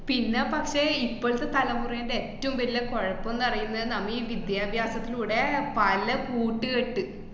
പിന്നെ പക്ഷേ ഇപ്പോഴത്തെ തലമുറേന്‍റെ ഏറ്റോം വല്ല കൊഴപ്പന്ന് പറയുന്നത് നമ്~ ഈ വിദ്യഭ്യാസത്തിലൂടെ പല കൂട്ട്കെട്ട്